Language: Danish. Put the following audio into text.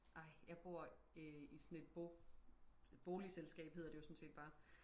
ej jeg bor i sådan et bo boligselskab hedder det jo sådan set bare